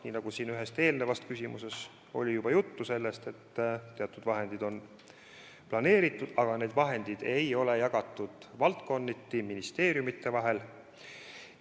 Siin oli ühe eelmise küsimusega seoses juba juttu, et teatud vahendid on planeeritud, aga need ei ole jagatud valdkonniti ministeeriumide vahel.